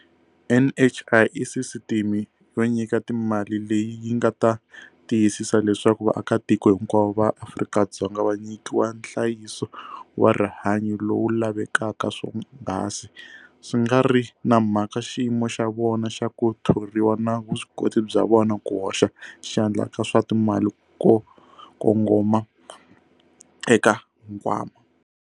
NHI i sisiteme yo nyika timali leyi yi nga ta tiyisisa leswaku vaakatiko hinkwavo va Afrika-Dzonga va nyikiwa nhlayiso wa rihanyu lowu lavekaka swonghasi, swi nga ri na mhaka xiyimo xa vona xa ku thoriwa na vuswikoti bya vona ku hoxa xandla ka swa timali ko kongoma eka nkwama.